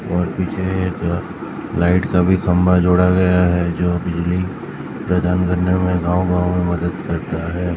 और पीछे एक लाइट का भी खंभा जोड़ा गया है जो बिजली प्रदान करने में गांव गांव में मदद करता है।